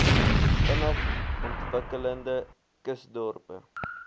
vinnig ontwikkelende kusdorpe